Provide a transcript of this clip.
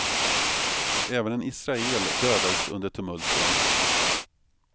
Även en israel dödades under tumulten.